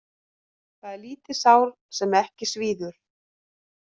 Það er lítið sár sem ekki svíður.